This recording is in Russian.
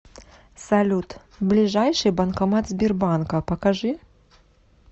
салют ближайший банкомат сбербанка покажи